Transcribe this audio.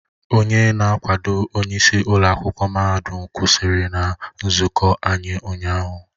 Onye na-akwado onyeisi ụlọ akwụkwọ mahadum kwụsịrị na nzụkọ anyị ụnyahụ